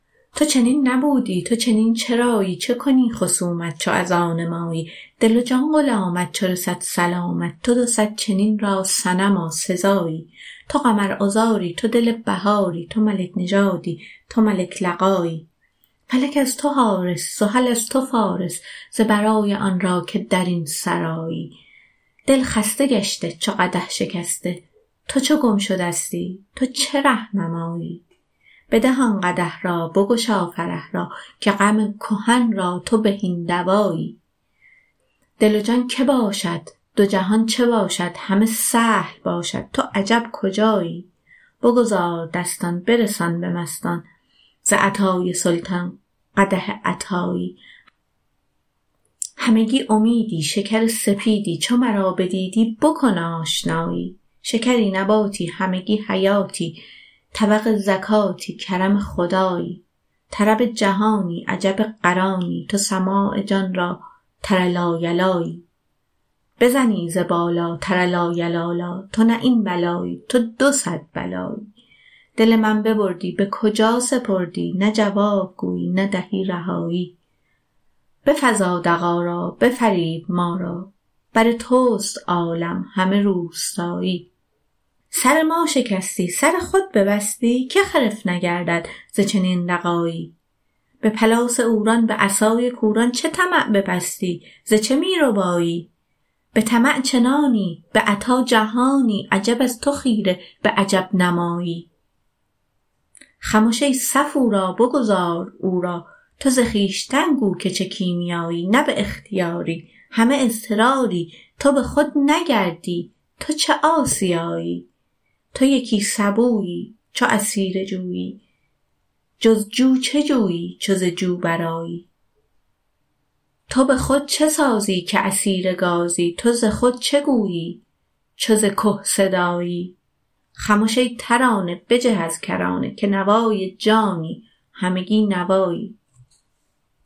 تو چنین نبودی تو چنین چرایی چه کنی خصومت چو از آن مایی دل و جان غلامت چو رسد سلامت تو دو صد چنین را صنما سزایی تو قمرعذاری تو دل بهاری تو ملک نژادی تو ملک لقایی فلک از تو حارس زحل از تو فارس ز برای آن را که در این سرایی دل خسته گشته چو قدح شکسته تو چو گم شدستی تو چه ره نمایی بده آن قدح را بگشا فرح را که غم کهن را تو بهین دوایی دل و جان کی باشد دو جهان چه باشد همه سهل باشد تو عجب کجایی بگذار دستان برسان به مستان ز عطای سلطان قدح عطایی همگی امیدی شکری سپیدی چو مرا بدیدی بکن آشنایی شکری نباتی همگی حیاتی طبق زکاتی کرم خدایی طرب جهانی عجب قرانی تو سماع جان را تر لایلایی بزنی ز بالاتر لایلالا تو نه یک بلایی تو دو صد بلایی دل من ببردی به کجا سپردی نه جواب گویی نه دهی رهایی بفزا دغا را بفریب ما را بر توست عالم همه روستایی سر ما شکستی سر خود ببستی که خرف نگردد ز چنین دغایی به پلاس عوران به عصای کوران چه طمع ببستی ز چه می ربایی به طمع چنانی به عطا جهانی عجب از تو خیره به عجب نمایی خمش ای صفورا بگذار او را تو ز خویشتن گو که چه کیمیایی نه به اختیاری همه اضطراری تو به خود نگردی تو چو آسیایی تو یکی سبویی چو اسیر جویی جز جو چه جویی چو ز جو برآیی تو به خود چه سازی که اسیر گازی تو ز خود چه گویی چو ز که صدایی خمش ای ترانه بجه از کرانه که نوای جانی همگی نوایی